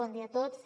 bon dia a tots